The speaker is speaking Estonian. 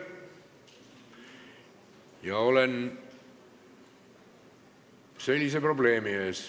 Ma olen probleemi ees.